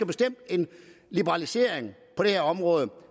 bestemt en liberalisering på det her område